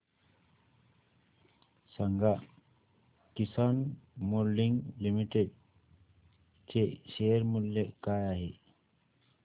सांगा Kisan moulding limited चे share मूल्य काय आहे